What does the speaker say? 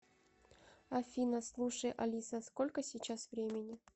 афина слушай алиса сколько сейчас времени